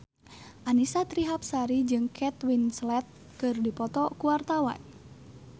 Annisa Trihapsari jeung Kate Winslet keur dipoto ku wartawan